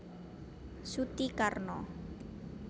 Suti Karno